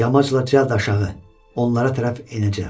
Yamaçla cəld aşağı, onlara tərəf enəcəm.